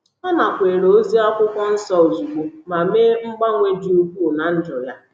Ọ nakweere ozi akwụkwọ nsọ ozugbo ma mee mgbanwe dị ukwuu ná ndụ ya.